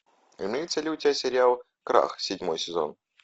имеется ли у тебя сериал крах седьмой сезон